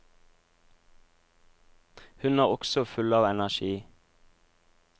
Hun er også full av energi.